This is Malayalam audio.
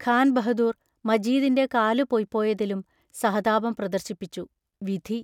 ഖാൻ ബഹദൂർ, മജീദിന്റെ കാലു പൊയ്പോയതിലും സഹതാപം പ്രദർശിപ്പിച്ചു: വിധി!